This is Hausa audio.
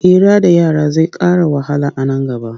Hira da yara zai ƙara wahala a nan gaba.